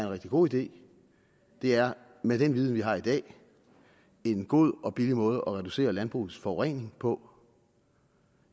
rigtig god idé det er med den viden vi har i dag en god og billig måde at reducere landbrugets forurening på